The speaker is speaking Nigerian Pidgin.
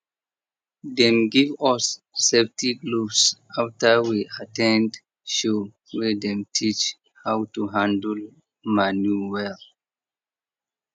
dem give us safety gloves after we at ten d show wey dem teach how to handle manure well